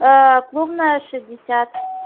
а клубная шестьдесят